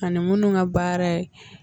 A ni minnu ka baara ye